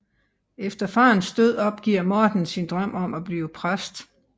Efter farens død opgiver Morten sin drøm om at blive præst